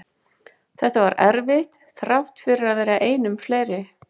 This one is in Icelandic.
Þetta var erfitt þrátt fyrir að vera einum fleiri.